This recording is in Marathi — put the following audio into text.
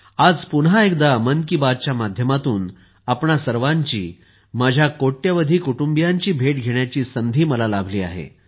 आज पुन्हा एकदा मन की बात च्या माध्यमातून आपणा सर्वांची माझ्या कोट्यवधी कुटुंबियांची भेट घेण्याची संधी मला लाभली आहे